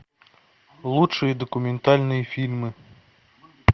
лучшие документальные фильмы